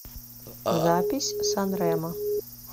запись санремо